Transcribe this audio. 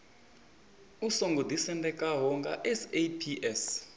u songo ḓisendekaho nga saps